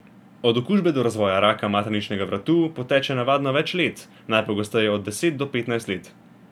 Od okužbe do razvoja raka materničnega vratu poteče navadno več let, najpogosteje od deset do petnajst let.